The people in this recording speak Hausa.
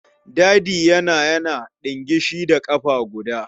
Dadi yana yana ɗingishi da ƙafa guda.